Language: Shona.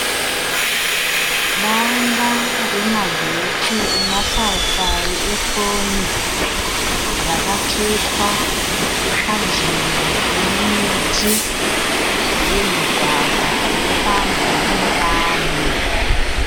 Danda remagetsi emasayisayi efoni rakatsvetwa panzvimbo ine miti huye migwagwa inofambwa nevanhu.